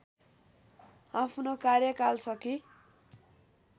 आफ्नो कार्यकाल सकी